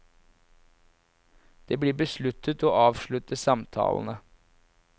Det blir besluttet å avslutte samtalene.